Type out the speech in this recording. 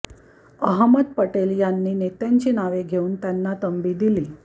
अहमद पटेल यांनी नेत्यांची नावे घेऊन त्यांना तंबी दिली